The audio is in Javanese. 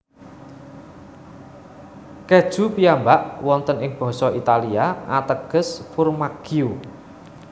Keju piyambak wonten ing basa Italia ateges formaggio